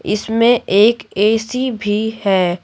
इसमें एक ए_सी भी है।